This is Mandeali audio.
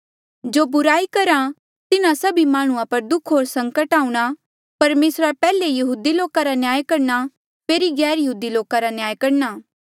जो बुराई करहा तिन्हा सभी माह्णुंआं पर दुःख होर संकट आऊंणा परमेसरा पैहले यहूदी लोका रा न्याय करणा फेरी गैरयहूदी लोका रा न्याय करणा